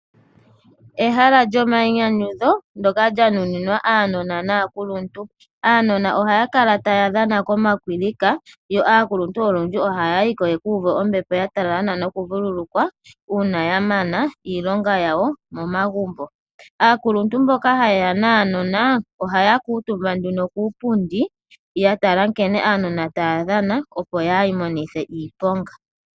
Ehala lyomayinyanyudho ndyoka lya nuninwa aanona naakuluntu. Aanona ohaya kala taya dhana komakwilika yo aakuluntu olundji ohaya yi ko ya ka uve ombepo ya talala nawa nokuvululukwa uuna ya mana iilonga yawo momagumbo. Aakuluntu mboka haye ya nuunona ohaya kuutumba nduno kuupundi ya tala nkene aanona taya dhana, opo kaya imonithe iiponga.